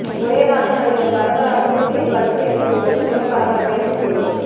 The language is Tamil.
ஒரேநாளில் நடிகர் வரதராஜன் திடீர் பல்டி அடித்துள்ளது பெரும் பரபரப்பை ஏற்படுத்தியுள்ளது